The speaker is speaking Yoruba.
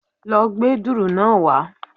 Lo gbé dùrù náá wá